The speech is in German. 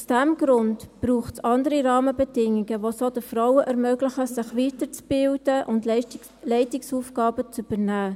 Aus diesem Grund braucht es andere Rahmenbedingungen, welche den Frauen ermöglichen, sich weiterzubilden und Leitungsaufgaben zu übernehmen.